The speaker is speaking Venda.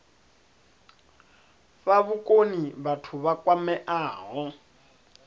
fha vhukoni vhathu vha kwameaho